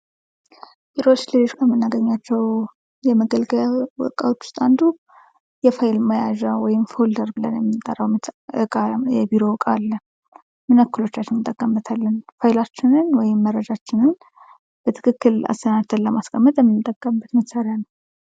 ቢሮ ውስጥ ከምናገኛቸው የመገልገያ እቃዎች ውስጥ አንዱ የፋይል መያዣ ወይም ፎልደር ብለን የምንጠራው የቢሮ ዕቃ አለ ። ምን ያክሎቻችን እንጠቀምበታለን ? ፋይላችንን ወይም መረጃችንን በትክክል አሰናድተን ለማስቀመጥ የምንጠቀምበት መሣሪያ ነው ።